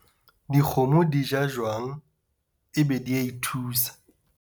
Dikgomo di ja jwang ebe di a thuisa.